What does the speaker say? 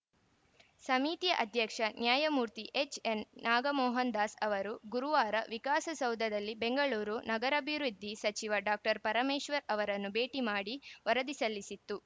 ಸಮಿತಿಯ ಅಧ್ಯಕ್ಷ ನ್ಯಾಯಮೂರ್ತಿ ಎಚ್‌ಎನ್‌ ನಾಗಮೋಹನದಾಸ್‌ ಅವರು ಗುರುವಾರ ವಿಕಾಸಸೌಧದಲ್ಲಿ ಬೆಂಗಳೂರು ನಗರಾಭಿವೃದ್ಧಿ ಸಚಿವ ಡಾಕ್ಟರ್ ಪರಮೇಶ್ವರ್‌ ಅವರನ್ನು ಭೇಟ ಮಾಡಿ ವರದಿ ಸಲ್ಲಿಸಿತು